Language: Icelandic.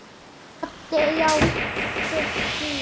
Doddi játti því.